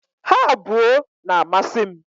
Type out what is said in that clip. Ha abuo na-amasi m